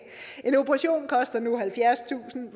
en operation koster nu halvfjerdstusind